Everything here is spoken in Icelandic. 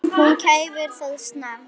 Hún kæfir það snarpt.